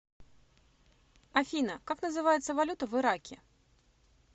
афина как называется валюта в ираке